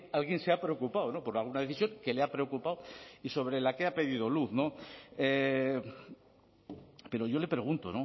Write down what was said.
alguien se ha preocupado por alguna decisión que le ha preocupado y sobre la que ha pedido luz pero yo le pregunto